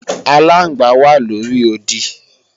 Aláǹgbá wà lóri odi